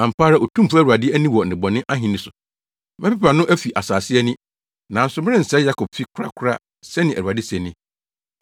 “Ampa ara Otumfo Awurade ani wɔ nnebɔne ahenni no so. Mɛpepa no afi asase ani, nanso merensɛe Yakobfi korakora,” sɛnea Awurade se ni.